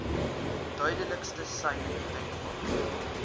duidelikste sein denkbaar